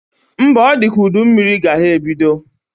Mba, ọ dị ka udu mmiri ga ha ebido